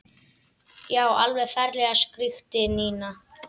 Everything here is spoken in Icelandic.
Já, alveg ferlega skríkti Nína.